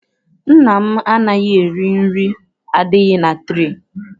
Nna m anaghị eri nri adịghị na ture.